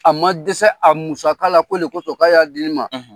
A ma dɛsɛ a musa la ko le kosɔn k'a y'a di ne ma